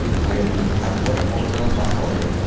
Hayotning har bir onidan bahra oling.